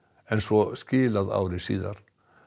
en svo skilað ári síðar